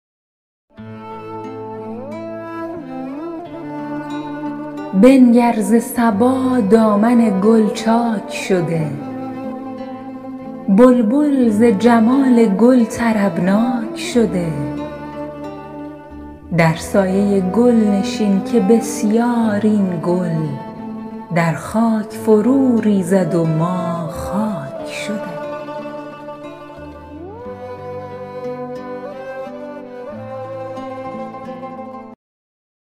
بنگر ز صبا دامن گل چاک شده بلبل ز جمال گل طربناک شده در سایه گل نشین که بسیار این گل در خاک فرو ریزد و ما خاک شده